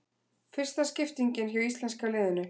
Fyrsta skiptingin hjá íslenska liðinu